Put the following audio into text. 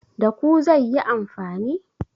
Da ku zai yi amfani?